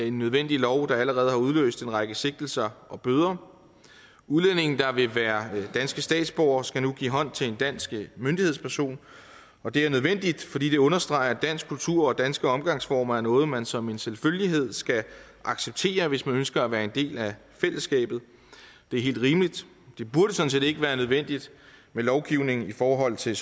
en nødvendig lov der allerede har udløst en række sigtelser og bøder udlændinge der vil være danske statsborgere skal nu give hånd til en dansk myndighedsperson og det er nødvendigt fordi det understreger at dansk kultur og danske omgangsformer er noget som man som en selvfølgelighed skal acceptere hvis man ønsker at være en del af fællesskabet det er helt rimeligt det burde sådan set ikke være nødvendigt med lovgivning i forhold til